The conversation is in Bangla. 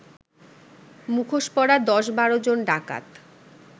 মুখোশ পরা ১০-১২ জন ডাকাত